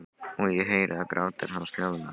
Og ég heyri að grátur hans hljóðnar.